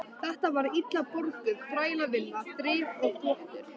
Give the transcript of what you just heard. Þetta var illa borguð þrælavinna, þrif og þvottur.